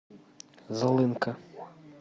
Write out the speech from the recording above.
злынка